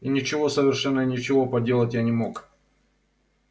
ничего совершенно ничего поделать я не мог